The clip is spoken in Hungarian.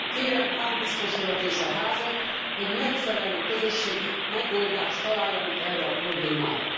Kérem Hahn biztos urat és a Házat, hogy megfelelő közösségi megoldást találjanak erre a problémára.